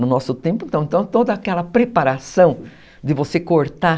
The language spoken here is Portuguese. No nosso tempo, então, toda aquela preparação de você cortar...